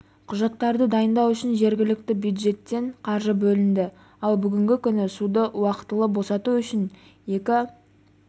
құжаттарды дайындау үшін жергілікті бюджеттен қаржы бөлінді ал бүгінгі күні суды уақытылы босату үшін екі